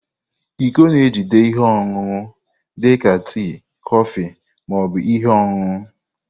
Iko na-ejide ihe ọṅụṅụ dị ka tii, kọfị, ma ọ bụ ihe ọṅụṅụ.